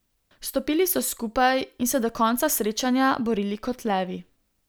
Stopili so skupaj in se do konca srečanja borili kot levi.